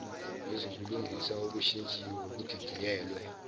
lwezobulungiswa olushintshiwe oludidiyelwe